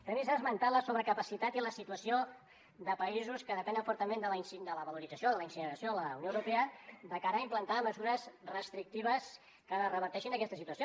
també s’ha esmentat la sobrecapacitat i la situació de països que depenen fortament de la valorització de la incineració a la unió europea de cara a implantar mesures restrictives que reverteixin aquesta situació